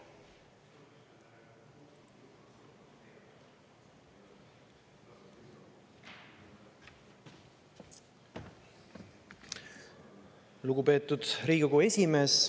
Lugupeetud Riigikogu esimees!